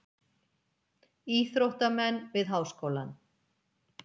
Íþróttamenn við Háskólann.